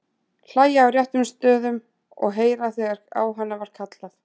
Það er atlaga að lýðræðinu, skal ég segja þér, gusar mamma yfir hann.